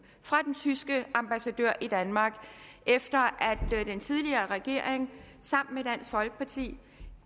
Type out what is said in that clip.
fra den tyske ambassadør i danmark efter at den tidligere regering sammen med dansk folkeparti